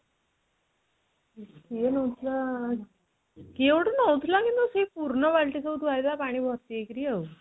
କିଏ ନଉଥିଲା? କିଏ ଗୋଟେ ନେଉଥିଲା କିନ୍ତୁ ସେଇ ପୁର୍ଣ ବାଲଟି ସବୁ ଥୁଆ ହୋଇଥିଲା ପାଣି ଭର୍ତି ହେଇକିରି ଆଉ